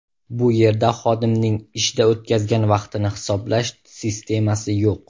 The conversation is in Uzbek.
Bu yerda xodimning ishda o‘tkazgan vaqtini hisoblash sistemasi yo‘q.